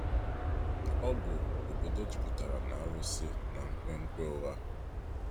Ọ bụ obodo jupụtara na arụsị na nkwenkwe ụgha.